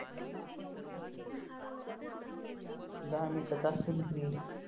दहा मिनिटाचा असतो ना break